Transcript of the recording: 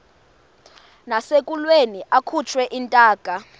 nasekulweni akhutshwe intaka